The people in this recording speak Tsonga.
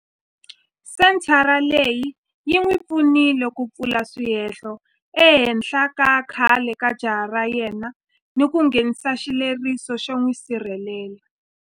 Senthara leyi yi n'wi pfunile ku pfula swihehlo ehenhla ka khale ka jaha ra yena ni ku nghenisa xileriso xo n'wi sirhelela.